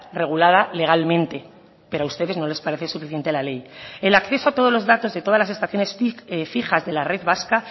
regulada legalmente pero a ustedes no les parece suficiente la ley el acceso a todos los datos de todas las estaciones fijas de la red vasca